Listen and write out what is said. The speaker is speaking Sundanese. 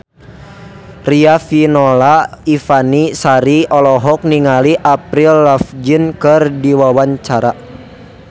Riafinola Ifani Sari olohok ningali Avril Lavigne keur diwawancara